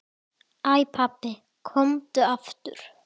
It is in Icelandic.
Æ pabbi, komdu aftur.